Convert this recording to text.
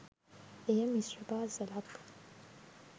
එය මිශ්‍ර පාසලක්